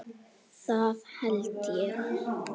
Það held ég